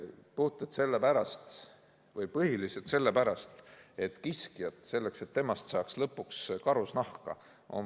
Seda puhtalt sellepärast või põhiliselt sellepärast, et kiskjat on vaja väga palju toita, enne kui temast saab lõpuks karusnahk.